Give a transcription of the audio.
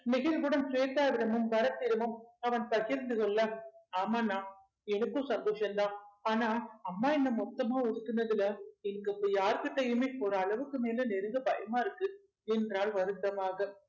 நெகிழ்வுடன் ஸ்வேதாவிடமும் பரத்திடமும் அவன் பகிர்ந்து கொள்ள ஆமாண்ணா எனக்கும் சந்தோசம்தான் ஆனா அம்மா என்னை மொத்தமா ஒதுக்குனதுல இங்க இப்ப யார்கிட்டயுமே ஒரு அளவுக்கு மேல நெருங்க பயமா இருக்கு என்றாள் வருத்தமாக